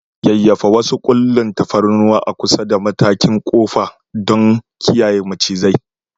Yayyafa wasu ƙullun tafarnuwa a kusa da matakin ƙofar don kiyaye macizai.